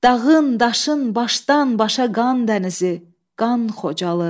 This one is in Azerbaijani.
Dağın, daşın başdan-başa qan dənizi, qan Xocalı.